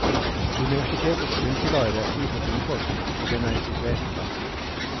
Universitetets grunnpilar er fri grunnforskning, og den er i sitt vesen langsiktig.